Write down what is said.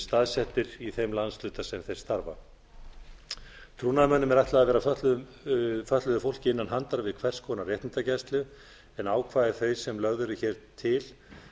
staðsettir í þeim landshluta sem þeir starfa trúnaðarmönnum er ætlað að vera fötluðu fólki innan handar við hvers konar réttindagæslu en ákvæði þau sem lögð eru hér til